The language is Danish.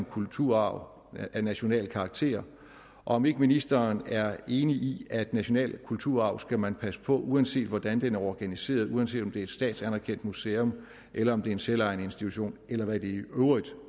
kulturarv af national karakter og om ikke ministeren er enig i at national kulturarv skal man passe på uanset hvordan den er organiseret og uanset om det er et statsanerkendt museum eller om det er en selvejende institution eller hvad det i øvrigt